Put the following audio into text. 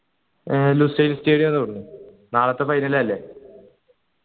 ഏർ തോന്നുന്നു നാളത്തെ final അല്ലെ